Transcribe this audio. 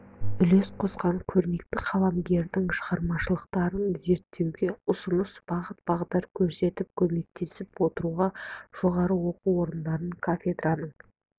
үлес қосқан көрнекті қаламгерлердің шығармашылықтарын зерттеуге ұсынып бағыт-бағдар көрсетіп көмектесіп отыру жоғары оқу орындары кафедраларының